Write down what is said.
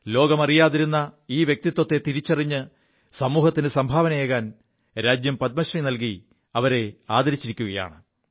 ലോകം അറിയാതിരു ഈ വ്യക്തിത്വത്തെ തിരിച്ചറിഞ്ഞ് സമൂഹത്തിന് സംഭാവനയേകാൻ രാജ്യം പദ്മശ്രീ നല്കി ആദരിച്ചിരിക്കയാണ്